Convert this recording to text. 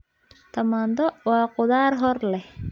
Tamaandho waa khudaar hor leh.